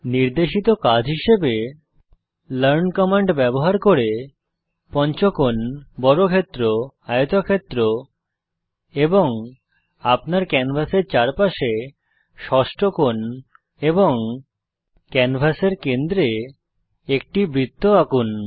নির্দেশিত কাজ হিসাবে লার্ন কমান্ড ব্যবহার করে পঞ্চকোণ বর্গক্ষেত্র আয়তক্ষেত্র আপনার ক্যানভাসের চারপাশে ষষ্ঠকোণ এবং ক্যানভাসের কেন্দ্রে একটি বৃত্ত আঁকুন